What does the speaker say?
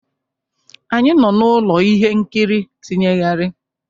Anyị nọ n'ụlọ ihe nkiri tinyegharị.